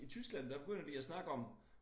I Tyskland der begynder de at snakke om